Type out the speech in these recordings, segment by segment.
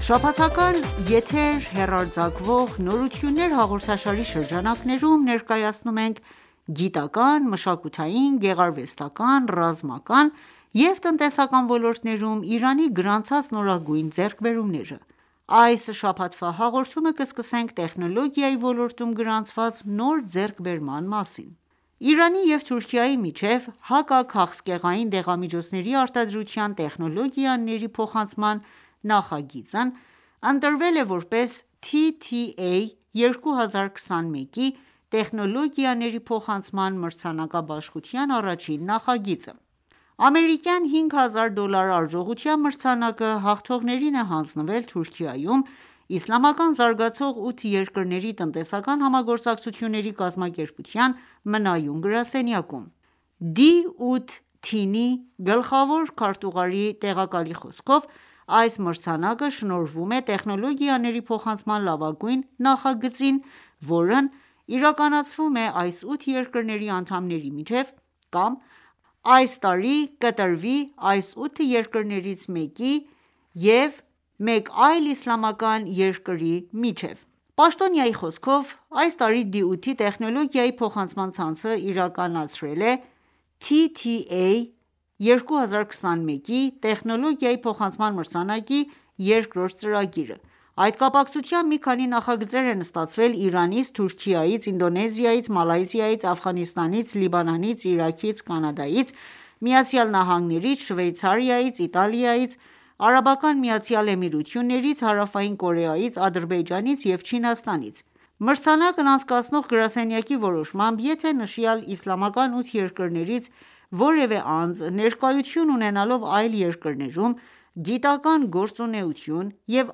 Շաբաթական եթեր հեռարձակվող «Նորություններ» հաղորդաշարի շրջանակներում, ներկայացնում ենք գիտական, մշակութային, գեղարվեստական, ռազմական ու տնտեսական ոլորտներում Իրանի գրանցած նորագույն ձեռքբերումները։ Այս շաբաթվա հաղորդումը կսկսենք տեխնոլոգիայի ոլորտում գրանցված նոր ձեռքբերման մասին: Իրանի և Թուրքիայի միջև հակաքաղցկեղային դեղամիջոցների արտադրության տեխնոլոգիաների փոխանցման նախագիծն ընտրվել է ,որպես TTA 2021 Տեխնոլոգիաների փոխանցման մրցանակաբաշխության առաջին նախագիծը:Ամերիկյան 5 հազար դոլար արժողությամբ մրցանակը ,հաղթողներին է հանձնվել Թուրքիայում ՝Իսլամական զարգացող ութ երկրների տնտեսական համագործակցությունների կազմակերպության մնայուն գրասենյակում:D8-TEEN-ի գլխավոր քարտուղարի տեղակալի խոսքով՝այս մրցանակը շնորհվում է տեխնոլոգիաների փոխանցման լավագույն նախագծին, որն իրականացվում է այս ութ երկրների անդամների միջև կամ այս տարի կավարտվի այս ութ երկրներից մեկի և մեկ այլ իսլամական երկրի միջև: Պաշտոնյայի խոսքով՝ այս տարի D8 -ի տեխնոլոգիայի փոխանցման ցանցը իրականացրել է (TTA 2021) տեխնոլոգիայի փոխանցման մրցանակի երկրորդ ծրագիրը։ Այդ կապակցությամբ մի քանի նախագծեր են ստացվել Իրանից, Թուրքիայից, Ինդոնեզիայից, Մալայզիայից, Աֆղանստանից, Լիբանանից, Իրաքից, Կանադայից, ԱՄՆ-ից, Շվեյցարիայից, Իտալիայից, ԱՄԷ-ից, Հարավային Կորեայից, Ադրբեջանից և Չինաստանից։ Մրցանակն անցկացնող գրասենյակի որոշմամբ ,եթե նշյալ իսլամական ութ երկրներից որևէ անձ ներկայություն ունենալով այլ երկրներում, գիտական ​​գործունեություն և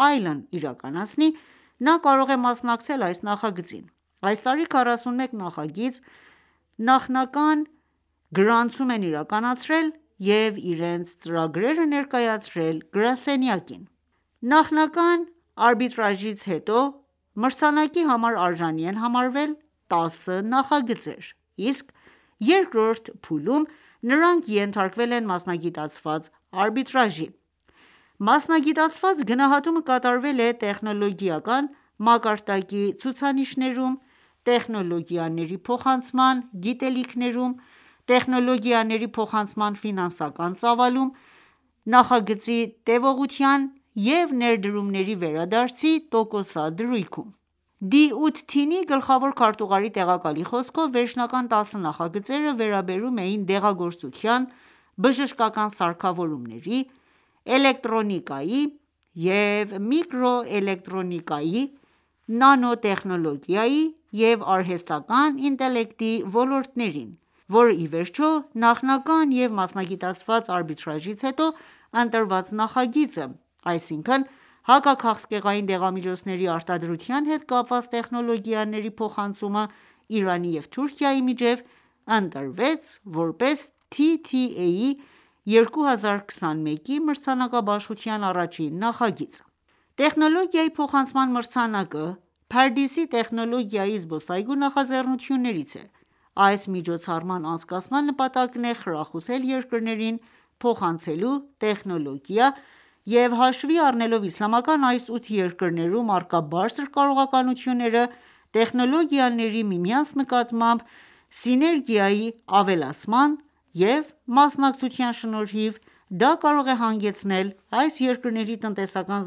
այլն իրականացնի, նա կարող է մասնակցել այս նախագծին։ Այս տարի 41 նախագիծ նախնական գրանցում են իրականացրել և իրենց ծրագրերը ներկայացրել գրասենյակին։ Նախնական արբիտրաժից հետո, մրցանակի համար արժանի են համարվել 10 նախագծեր, իսկ երկրորդ փուլում նրանք ենթարկվել են մասնագիտացված արբիտրաժի:Մասնագիտացված գնահատումը կատարվել է՝ տեխնոլոգիական մակարդակի ցուցիչներում, տեխնոլոգիաների փոխանցման գիտելիքներում, տեխնոլոգիաների փոխանցման ֆինանսական ծավալում, նախագծի տեւողության եւ ներդրումների վերադարձի տոկոսադրույքում: D8-TEEN-ի գլխավոր քարտուղարի տեղակալի խոսքով, վերջնական տասը նախագծերը վերաբերում էին դեղագործության, բժշկական սարքավորումների, էլեկտրոնիկայի և միկրոէլեկտրոնիկայի, նանոտեխնոլոգիայի և արհեստական ​​ինտելեկտի ոլորտներին, որ իվերջո, նախնական և մասնագիտացված արբիտրաժից հետո ընտրված նախագիծը, այսինքն՝ « Հակաքաղցկեղային դեղամիջոցների արտադրության հետ կապված տեխնոլոգիաների փոխանցումը Իրանի և Թուրքիայի միջև », ընտրվեց ,որպես TTA 2021-ի մրցանակաբաշխության առաջին նախագիծ։ Տեխնոլոգիայի փոխանցման մրցանակը, «Փարդիս»-ի տեխնոլոգիայի զբոսայգու նախաձեռնություններից է: Այս միջոցառման անցկացման նպատակն է՝ խրախուսել երկրներին փոխանցելու տեխնոլոգիա և հաշվի առնելով իսլամական այս ութը երկրներում առկա բարձր կարողությունները, տեխնոլոգների՝ միմյանց նկատմամբ սիներգիայի ավելացման և մասնակցության շնորհիվ, դա կարող է հանգեցնել այս երկրների տնտեսական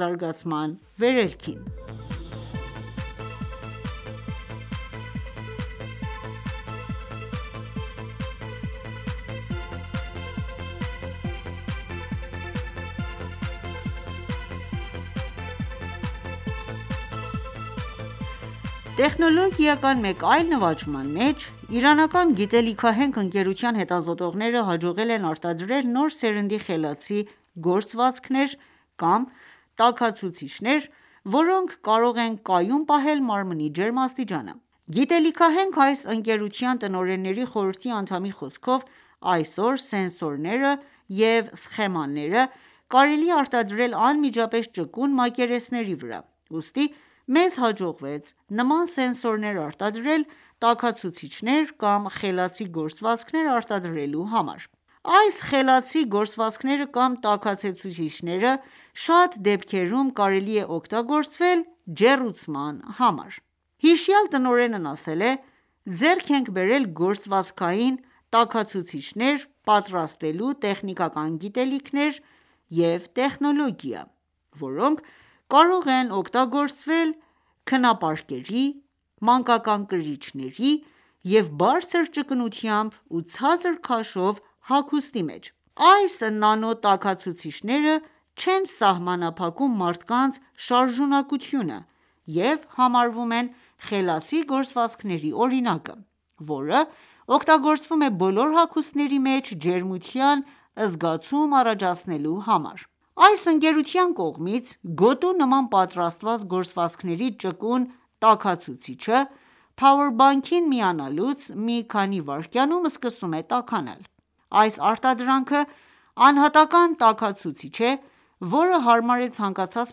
զարգացման վերելքին: Տեխնոլոգիական մեկ այլ նվաճման մեջ, իրանական գիտելիքահենք ընկերության հետազոտողները, հաջողել են արտադրել նոր սերնդի խելացի գործվածքներ կամ տաքացուցիչներ, որոնք կարող են կայուն պահել մարմնի ջերմաստիճանը։ Գիտելիքահենք այս ընկերության տնօրենների խորհրդի անդամի խոսքով, այսօր սենսորները և սխեմաները կարելի է արտադրել անմիջապես ճկուն մակերեսների վրա:Ուստի մեզ հաջողվեց նման սենսորներ արտադրել՝տաքացուցիչներ կամ խելացի գործվածքներ արտադրելու համար։ Այս խելացի գործվածքները կամ տաքացուցիչները շատ դեպքերում կարելի է օգտագործվել ջեռուցման համար: Հիշյալ տնօրենն ասել է.«Ձեռք ենք բերել գործվածքային տաքացուցիչներ պատրաստելու տեխնիկական գիտելիքներ և տեխնոլոգիա, որոնք կարող են օգտագործվել քնապարկերի, մանկական կրիչների և բարձր ճկունությամբ ու ցածր քաշով հագուստի մեջ:Այս նանո տաքացուցիչները չեն սահմանափակում մարդկանց շարժունակությունը և համարվում են խելացի գործվածքների օրինակը, որը օգտագործվում է բոլոր հագուստների մեջ ջերմության զգացում առաջացնելու համար։ Այս ընկերության կողմից, գոտու նման պատրաստված գործվածքների ճկուն տաքացուցիչը, Power Bank-ին միանալուց մի քանի վայրկյանում ​​սկսում է տաքանալ: Այս արտադրանքը անհատական տաքացուցիչ է,որը հարմար է ցանկացած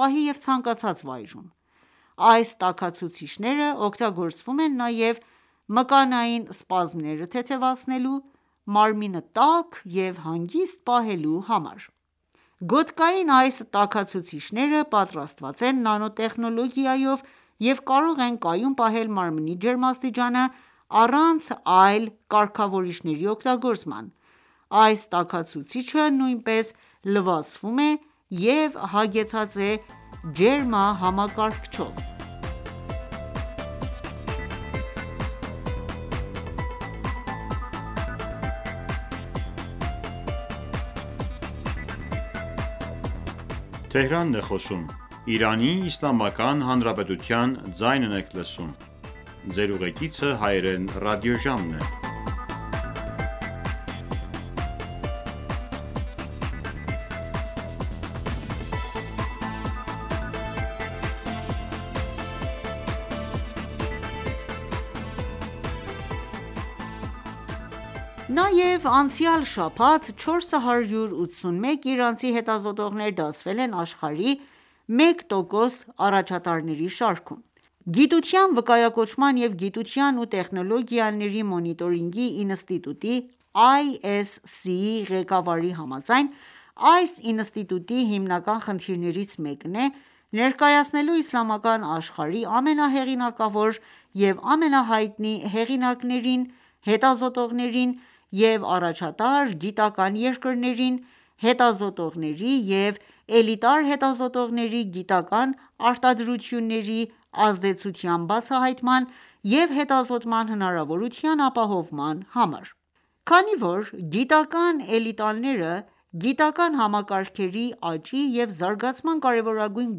պահի և ցանկացած վայրում:Այս տաքացուցիչները օգտագործվում են նաև մկանային սպազմերը թեթևացնելու, մարմինը տաք և հանգիստ պահելու համար:Գոտկային այս տաքացուցիչները պատրաստված են նանոտեխնոլոգիայով և կարող են կայուն պահել մարմնի ​​ջերմաստիճանը ,առանց այլ կարգավորիչների օգտագործման:Այս տաքացուցիչը նույնպես լվացվում է և հագեցած է ջերմակարգավորիչով։ Նաև անցյալ շաբաթ 481 իրանցի հետազոտողներ դասվել են աշխարհի 1%- առաջատարների շարքում: Գիտության վկայակոչման և գիտության ու տեխնոլոգիաների մոնիտորինգի ինստիտուտի (ISC)-ի ղեկավարի համաձայն, այս ինստիտուտի հիմնական խնդիրներից մեկն է՝ ներկայացնելու իսլամական աշխարհի ամենահեղինակավոր և ամենահայտնի հեղինակներին, հետազոտողներին և առաջատար գիտական ​​երկրներին՝հետազոտողների և էլիտար հետազոտողների գիտական ​​արտադրությունների ազդեցության բացահայտման և հետազոտման հնարավորության ապահովման համար:Քանի որ գիտական էլիտաները, գիտական ​​համակարգերի աճի և զարգացման կարևորագույն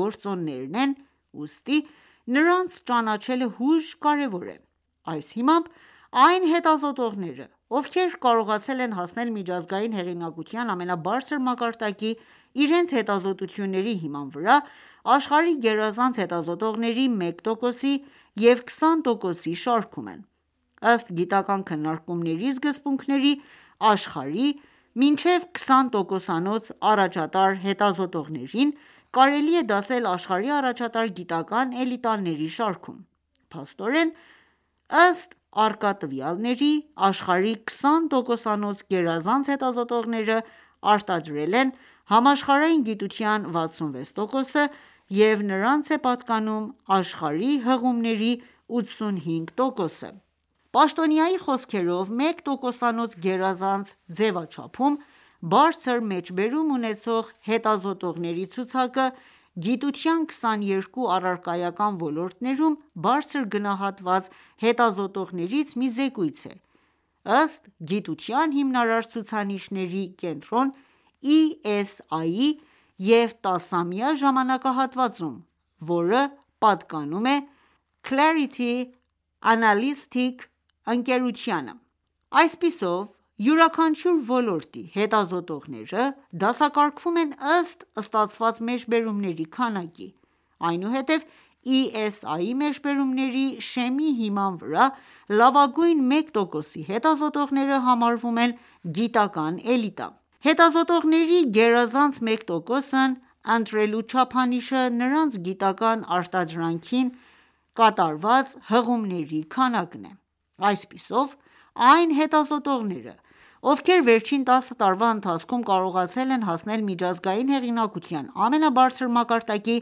գործոններն են, ուստի նրանց ճանաչելը հույժ կարևոր է:Այս հիմամբ ,այն հետազոտողները, ովքեր կարողացել են հասնել միջազգային հեղինակության ամենաբարձր մակարդակի՝ իրենց հետազոտությունների հիման վրա, աշխարհի գերազանց հետազոտողների 1%-ի և 20%-ի շարքում են:Ըստ, գիտական քննարկումների սկզբունքների, աշխարհի մինչև 20%-անոց, առաջատար հետազոտողներին ,կարելի է դասել աշխարհի առաջատար գիտական ​​էլիտաների շարքում։ Փաստորեն, ըստ առկա տվյալների, աշխարհի 20%-անոց գերազանց հետազոտողները արտադրել են համաշխարհային գիտության 66 տոկոսը,և նրանց է պատկանում աշխարհի հղումների 85%-ը: Պաշտոնյայի խոսքերով, 1%-անոց գերազանց ձևաչափում, բարձր մեջբերում ունեցող հետազոտողների ցուցակը ,գիտության 22 առարկայական ոլորտներում բարձր գնահատված հետազոտողներից մի զեկույց է ,ըստ գիտության հիմնարար ցուցանիշների կենտրոն(ESI) -ի և 10 ամյա ժամանակահատվածում, որը պատկանում է ՝Clarity Analytics (WoS) ընկերությանը:Այսպիսով յուրաքանչյուր ոլորտի հետազոտողները դասակարգվում են ըստ ստացված մեջբերումների քանակի, այնուհետև ESI մեջբերումների շեմի հիման վրա լավագույն մեկ տոկոսի հետազոտողները համարվում են գիտական ​​էլիտա:Հետազոտողների գերազանց մեկ տոկոսն ընտրելու չափանիշը նրանց գիտական ​​արտադրանքին կատարված հղումների քանակն է:Այսպիսով այն հետազոտողները, ովքեր վերջին 10 տարվա ընթացքում կարողացել են հասնել միջազգային հեղինակության ամենաբարձր մակարդակի՝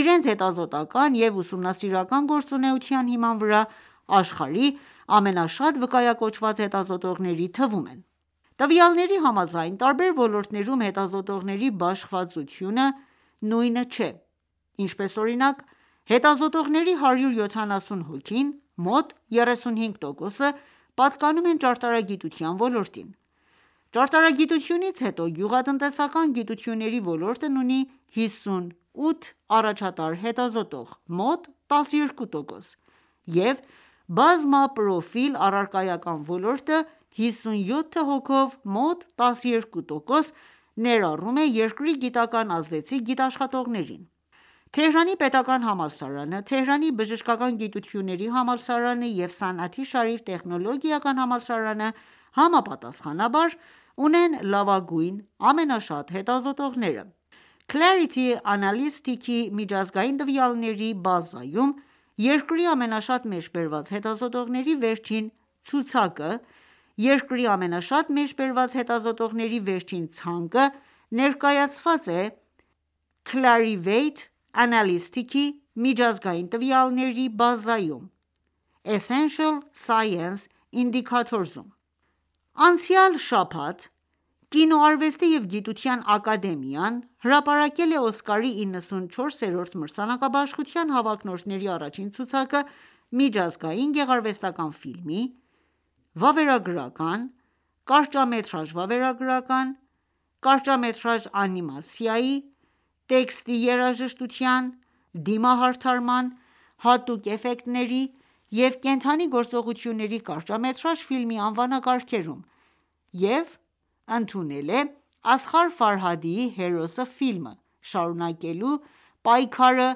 իրենց հետազոտական ​​և ուսումնասիրական ​​գործունեության հիման վրա, աշխարհի ամենաշատ վկայակոչված հետազոտողների թվում են: Տվյալների համաձայն՝ տարբեր ոլորտներում հետազոտողների բաշխվածությունը նույնը չէ:Ինչպես օրինակ՝ հետազոտողների 170 հոգին (մոտ 35%) պատկանում են ճարտարագիտության ոլորտին։ Ճարտարագիտությունից հետո ,գյուղատնտեսական գիտությունների ոլորտն ունի 58 առաջատար հետազոտող (մոտ 12%),և բազմապրոֆիլ առարկայական ոլորտը 57 հոգով (մոտ 12%) ներառում է երկրի գիտական ազդեցիկ գիտաշխատողներին:Թեհրանի պետական համալսարանը, Թեհրանի բժշկական գիտությունների համալսարանը և «Սանաթի Շարիֆ» տեխնոլոգիական համալսարանը, համապատասխանաբար ունեն լավագույն ամենաշատ հետազոտողները: Երկրի ամենաշատ մեջբերված հետազոտողների վերջին ցանկը ներկայացված է Clarivate Analytics-ի միջազգային տվյալների բազայում (WOS-ESI (Essential Science Indicators)): Իրանցի 481 հետազոտողների ընդգրկվել են աշխարհի լավագույն մեկ տոկոսի բարձր վարկանիշ ունեցող հետազոտողների ցանկում. Անցյալ շաբաթ Կինոարվեստի և գիտության ակադեմիան, հրապարակվել է Օսկարի 94-րդ մրցանակաբաշխության հավակնորդների առաջին ցուցակը՝ Միջազգային գեղարվեստական ​​ֆիլմի, վավերագրական, կարճամետրաժ վավերագրական, կարճամետրաժ անիմացիայի, տեքստի երաժշտության, դիմահարդարման, հատուկ էֆեկտների և կենդանի գործողությունների կարճամետրաժ ֆիլմի անվանակարգերում և ընդունել է Ասղար Ֆարհադիի «Հերոսը» ֆիլմը, շարունակելու պայքարը՝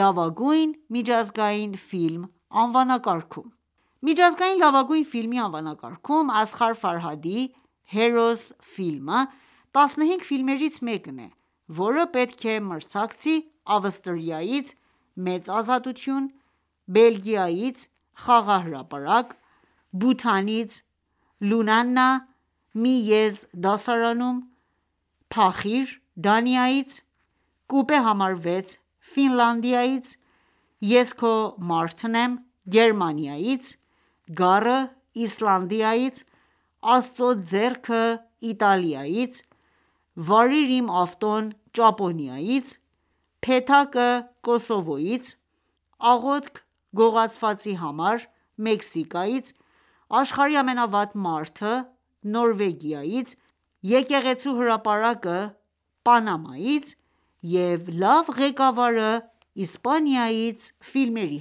«Լավագույն միջազգային ֆիլմ» անվանակարգում։ Միջազգային լավագույն ֆիլմի անվանակարգում ,Ասղար Ֆարհադիի «Հերոս»ֆիլմը,15 ֆիլմերից մեկն է,որը պետք է մրցակցի ՝ Ավստրիայից «Մեծ ազատություն», Բելգիայից «Խաղահրապարակ», Բութանից «Լունանա. «Մի եզ դասարանում»,«Փախիր» Դանիայից, «Կուպե համար 6» Ֆինլանդիայից;«Ես քո մարդն եմ» Գերմանիայից,«Գառը» Իսլանդիայից,«Աստծո ձեռքը»Իտալիայից,«Վարիր իմ ավտոն» Ճապոնիայից,«Փեթակը» Կոսովոյից,«Աղոթք գողացվածի համար» Մեքսիկայից,«Աշխարհի ամենավատ մարդը» Նորվեգիայից,«Եկեղեցու հրապարակը» Պանամայից և «Լավ ղեկավարը» Իսպանիայից ֆիլմերի